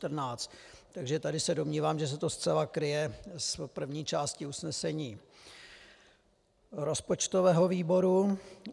Takže tady se domnívám, že se to zcela kryje s první částí usnesení rozpočtového výboru.